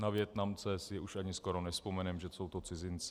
Na Vietnamce si už ani skoro nevzpomeneme, že jsou to cizinci.